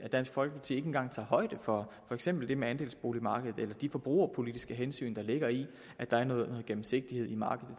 dansk folkeparti ikke engang tager højde for for eksempel det med andelsboligmarkedet eller tager de forbrugerpolitiske hensyn der ligger i at der er noget gennemsigtighed i markedet